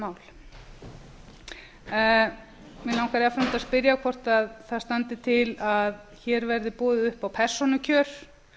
mál mig langar jafnframt að spyrja hvort það standi til að hér verði boðið upp á persónukjör